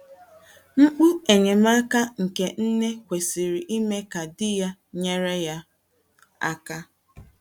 Mkpu enyemaka nke nne kwesịrị ime ka di ya nyere ya aka.